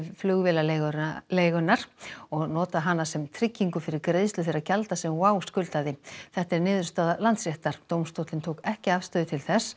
flugvél ALC flugvélaleigunnar og nota hana sem tryggingu fyrir greiðslu þeirra gjalda sem WOW skuldaði þetta er niðurstaða Landsréttar dómstóllinn tók ekki afstöðu til þess